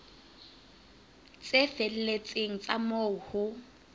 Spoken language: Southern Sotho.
tse felletseng tsa moo ho